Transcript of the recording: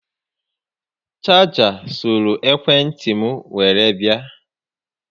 Chaja soro ekwe ntị m were bịa